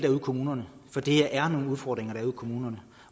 kommunerne for der er nogle udfordringer ude i kommunerne